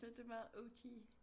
Så det er meget O G